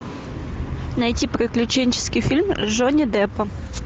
найти приключенческий фильм с джонни деппом